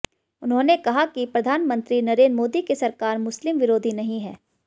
उन्होंने कहाकि प्रधानमंत्री नरेन्द्र मोदी की सरकार मुस्लिम विरोधी नहीं है